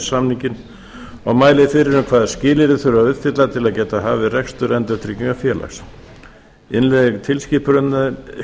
samninginn og mælir fyrir um hvaða skilyrði þurfi að uppfylla til að geta hafið rekstur endurtryggingafélags innleiðing